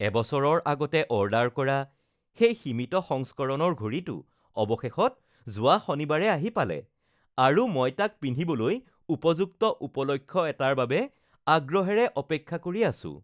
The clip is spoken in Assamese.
এবছৰৰ আগতে অৰ্ডাৰ কৰা সেই সীমিত সংস্কৰণৰ ঘড়ীটো অৱশেষত যোৱা শনিবাৰে আহি পালে আৰু মই তাক পিন্ধিবলৈ উপযুক্ত উপলক্ষ এটাৰ বাবে আগ্ৰহেৰে অপেক্ষা কৰি আছো